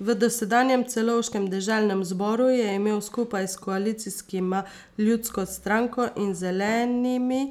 V dosedanjem celovškem deželnem zboru je imel skupaj s koalicijskima ljudsko stranko in Zelenimi